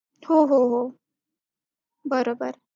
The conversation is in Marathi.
तर बोलती नही अभी नही तीस तारीख पंधरा तारीख तक होगा तर मी काही नाही बोलले मी गपचूप.